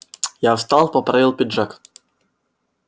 я встал поправил пиджак